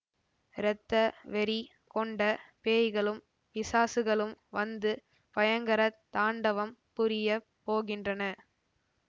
இரத்த வெறி கொண்ட பேய்களும் பிசாசுகளும் வந்து பயங்கர தாண்டவம் புரியப் போகின்றன